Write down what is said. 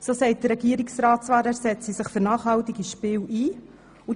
Der Regierungsrat sagt zwar, er setzte sich für nachhaltige Spiele ein.